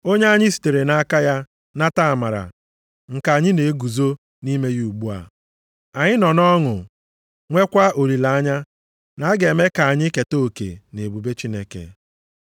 Onye anyị sitere nʼaka ya nata amara nke anyị na-eguzo nʼime ya ugbu a. Anyị nọ nʼọṅụ nweekwa olileanya na a ga-eme ka anyị keta oke nʼebube Chineke.